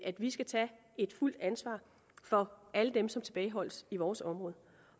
at vi skal tage et fuldt ansvar for alle dem som tilbageholdes i vores område